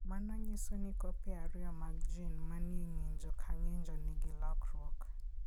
Mano nyiso ni kopi ariyo mag gene manie ng'injo ka ng'injo, nigi lokruok.